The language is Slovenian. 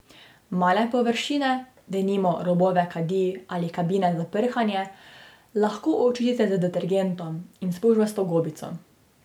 Male površine, denimo robove kadi ali kabine za prhanje, lahko očistite z detergentom in spužvasto gobico.